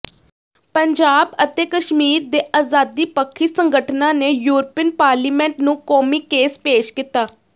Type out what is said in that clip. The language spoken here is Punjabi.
ਪੰਜਾਬ ਅਤੇ ਕਸ਼ਮੀਰ ਦੇ ਆਜ਼ਾਦੀ ਪੱਖੀ ਸੰਗਠਨਾਂ ਨੇ ਯੁਰਪੀਨ ਪਾਰਲੀਮੈਂਟ ਨੂੰ ਕੌਮੀ ਕੇਸ ਪੇਸ਼ ਕੀਤਾ